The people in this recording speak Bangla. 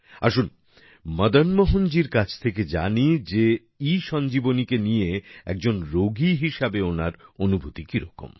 আসুন মদনমোহন জির কাছ থেকে জানি যে ইসঞ্জীবনী কে নিয়ে একজন রোগী হিসেবে ওনার অনুভূতি কি রকম